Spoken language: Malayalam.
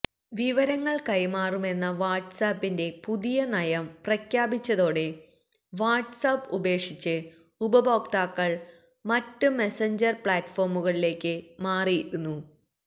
വിവരങ്ങള് കൈമാറുമെന്ന വാട്സ് ആപ്പിന്റെ പുതിയ നയം പ്രഖ്യാപിച്ചതോടെ വാട്സ് ആപ്പ് ഉപേക്ഷിച്ച് ഉപഭോക്താക്കള് മറ്റ് മെസഞ്ചര് പ്ലാറ്റ്ഫോമുകളിലേക്ക് മാറിയിരുന്നു